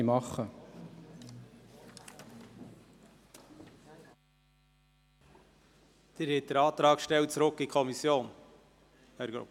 Herr Grupp, haben Sie den Antrag auf Rückweisung an die Kommission gestellt?